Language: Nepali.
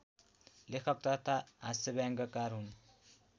लेखक तथा हास्यव्यङ्यकार हुन्